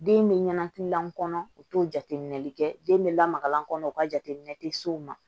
Den bɛ ɲanakilan kɔnɔ u t'o jateminɛli kɛ den bɛ lamagalan kɔnɔ u ka jateminɛ tɛ s'o ma